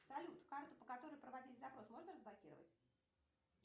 салют карту по которой проводили запрос можно разблокировать